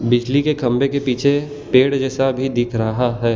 बिजली के खंभे के पीछे पेड़ जैसा भी दिख रहा है।